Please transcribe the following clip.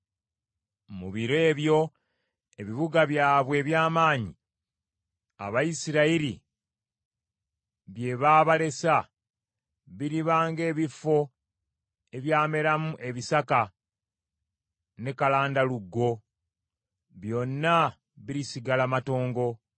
Mu biro ebyo ebibuga byabwe eby’amaanyi Abayisirayiri bye baabalesa, biriba ng’ebifo ebyameramu ebisaka ne kalandalugo. Byonna birisigala matongo.